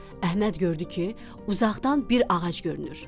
Əhməd gördü ki, uzaqdan bir ağac görünür.